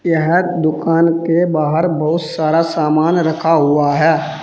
यह दुकान के बाहर बहुत सारा सामान रखा हुआ है।